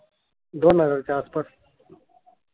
दोन हजार च्या आसपा